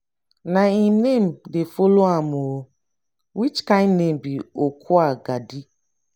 na im name dey follow am oo. which kin name be okwugadi?